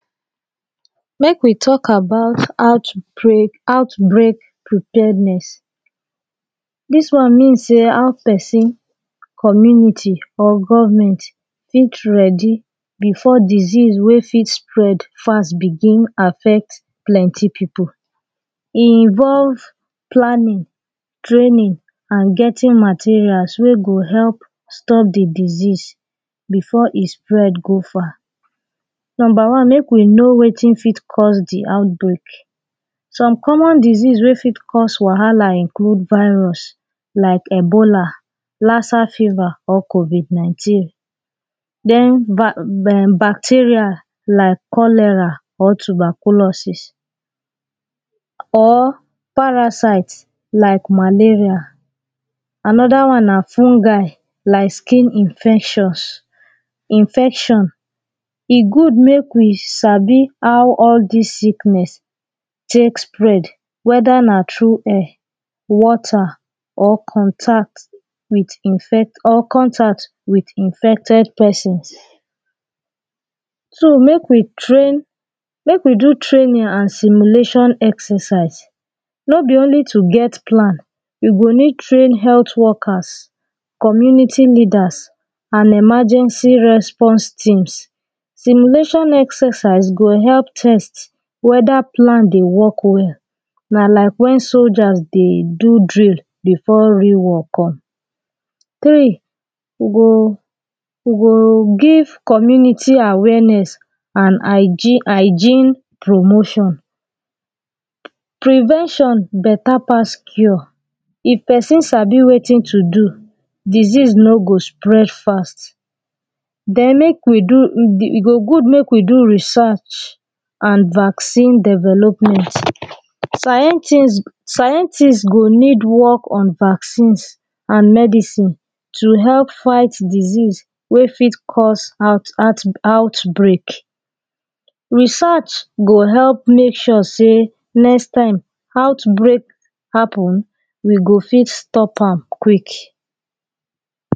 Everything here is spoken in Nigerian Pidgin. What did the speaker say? Make we talk about outbreak preparedness. This one mean say how person community or government fit ready before disease wey fit spread fast begin affect plenty people. E involve planning, training and getting materials wey go help stop the disease before e spread go far. Number one, make we know wetin fit cause the outbreak. Some common disease wey fit cause wahala include, virus like Ebola, laser fever, or covid-nineteen. Then, bacteria like cholera or tuberculosis, or parasite like malaria. Another one na fungi like skin infectious, infections. E good make we sabi how all dis sickness take spread, whether na through air, water or contact or contact with infected person. So make we train, make we do training and simulation exercise. No be only to get plan, you go need train health workers community leaders and emergency response teams. Simulation exercise go help test whether plan dey work well, na like when soldiers dey do drill before real work come. Three, you go, you go give community awareness and hygiene, hygiene promotion. Prevention better pass cure. If person sabi wetin to do, disease no go spread fast. Then, make we do, e go good make we do research and vaccine development. Scientists go need work on vaccines and medicine to help fight disease wey fit cause outbreak. Research go help make sure say next time outbreak happen, we go fit stop am quick.